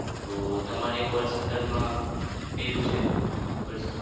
તો તમારે call center માં કેવું છે?